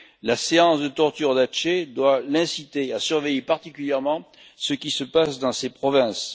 La séance de torture d'Aceh doit l'inciter à surveiller particulièrement ce qui se passe dans ses provinces.